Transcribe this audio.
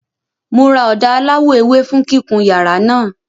Mo ra ọ̀dà aláwọ̀ ewé fún kíkun yàrá náà.